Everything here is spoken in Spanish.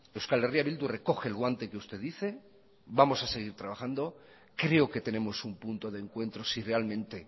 euskal herria bildu recoge el guante que usted dice vamos a seguir trabajando creo que tenemos un punto de encuentro si realmente